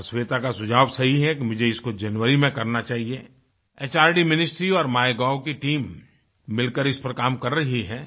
और श्वेता का सुझाव सही है कि मुझे इसको जनवरी में करना चाहिए एचआरडी मिनिस्ट्री और माइगोव की टीम मिलकर इस पर काम कर रही हैं